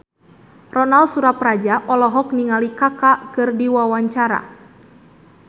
Ronal Surapradja olohok ningali Kaka keur diwawancara